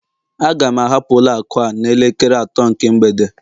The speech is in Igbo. Aga m ahapụ ụlọ akụ a n'elekere atọ nke mgbede